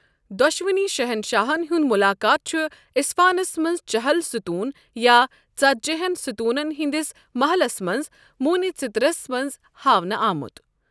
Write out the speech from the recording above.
دۄشوٕنی شہنشاہَن ہُند مُلاقات چُھَ اِصفانس منز چہل سوتوٗن یا ژتجیہن ستوُنن ہندِس محلس منز موٗنہِ ژِترس منز ہاونہٕ آمُت ۔